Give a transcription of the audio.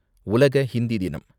உலக ஹிந்தி தினம்